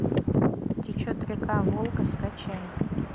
течет река волга скачай